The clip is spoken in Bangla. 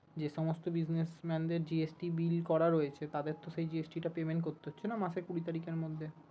যে সমস্ত business man দের GST bill করা রয়েছে তাদেরো তো সেই GST টা payment করতে হচ্ছে না মাসের কুড়ি তারিখের মধ্যে